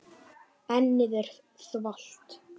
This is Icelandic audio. Ennið er þvalt.